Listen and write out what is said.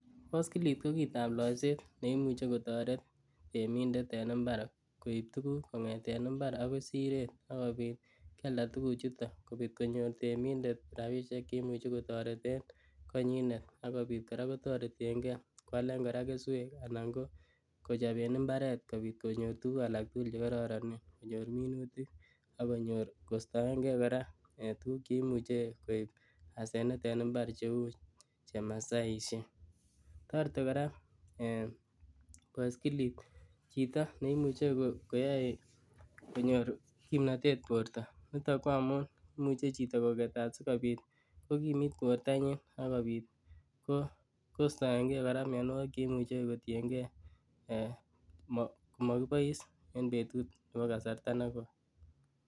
Boskilit kokitab loiset neimuche kotoret temintet en imbar koib tuguk kongeten imbar akoi siret, akobit kialdaa tuguchuton kobit konyor temintet rabisiek cheimuche kotoreten konyinet akobit koraa kotoreten ngee kwalen koraa kesweek anan koo kochoben imbaret kobit konyor tuguk alak tugul chekororonen konyor minutik akonyor kostoengee koraa ee tuguk cheimuche koib asenet en imbar cheu chemasaisiek, toreti koraa boskilit chito neimuche koyoe konyor kimnotet borto, niton koo amun imuche koketat chito sikobit kokimit bortanyin akobit kostoengee mionuokik cheimuche kotiengee ee mokibois en kasarta negoi.